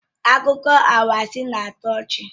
Akụkọ anwansi na-atọ ọchị